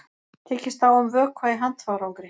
Tekist á um vökva í handfarangri